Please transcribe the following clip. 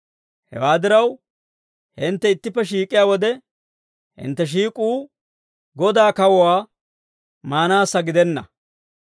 Hewaa diraw, hintte ittippe shiik'iyaa wode, hintte shiik'uu Godaa kawuwaa maanaassa gidenna.